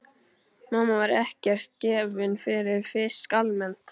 Mamma var ekkert gefin fyrir fisk almennt.